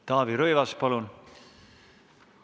Taavi Rõivas, palun!